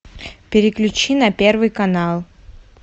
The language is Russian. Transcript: переключи на первый канал